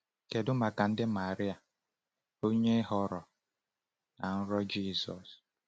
Kedu maka di Maria, onye ghọrọ nna nrọ Jizọs?